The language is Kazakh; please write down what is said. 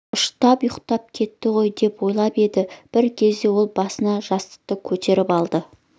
ұштап ұйықтап кетті ғой деп ойлап еді бір кезде ол басын жастықтан көтеріп алды